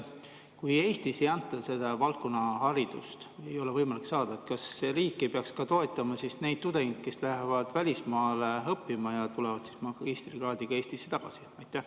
Kui Eestis ei anta mingi valdkonna haridust, seda ei ole võimalik saada, kas riik ei peaks toetama neid tudengeid, kes lähevad välismaale õppima ja tulevad magistrikraadiga Eestisse tagasi?